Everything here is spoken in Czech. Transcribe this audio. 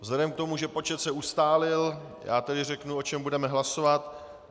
Vzhledem k tomu, že počet se ustálil, já tedy řeknu, o čem budeme hlasovat.